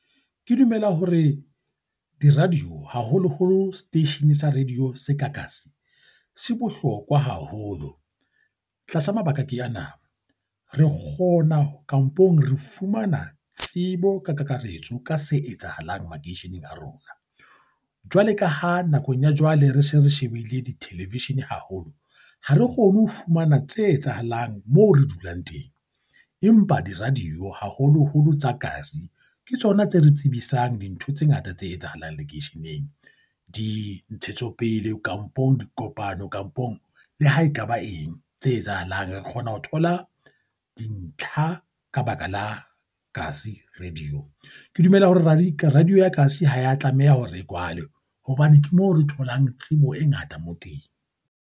Ke dumela hore di-radio, haholoholo seteishene sa radio se ka kasi se bohlokwa haholo, tlasa mabaka ke ana re kgona kampong re fumana tsebo ka kakaretso ka se etsahalang makeisheneng a rona. Jwale ka ha nakong ya jwale re se re shebile di-television haholo, ha re kgone ho fumana tse etsahalang mo re dulang teng, empa di-radio haholoholo tsa kasi, ke tsona tse re tsebisang dintho tse ngata tse etsahalang lekeisheneng. Dintshetsopele, kampong dikopano kampong, le ha ekaba eng tse etsahalang re kgona ho thola dintlha ka ba ka la kasi radio. Ke dumela hore radio ya kasi ha ya tlameha hore e kwalwe hobane ke moo re tholang tsebo e ngata mo teng.